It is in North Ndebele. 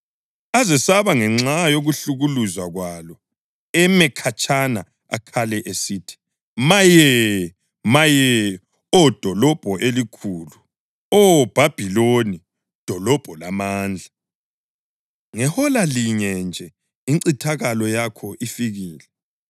Azesaba ngenxa yokuhlukuluzwa kwalo eme khatshana akhale esithi: Maye! Maye, Oh dolobho elikhulu, Oh Bhabhiloni, dolobho lamandla! Ngehola linye nje incithakalo yakho ifikile!